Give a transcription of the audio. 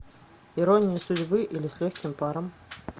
ирония судьбы или с легким паром